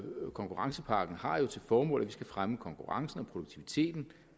konkurrencepakken har jo til formål at vi skal fremme konkurrencen og produktiviteten